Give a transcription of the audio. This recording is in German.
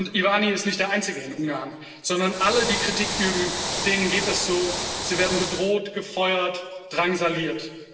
Iványi ist nicht der Einzige in Ungarn, sondern allen, die Kritik üben, geht das so Sie werden bedroht, gefeuert, drangsaliert.